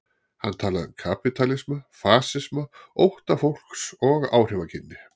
Hann talaði um kapítalisma, fasisma, ótta fólks og áhrifagirni.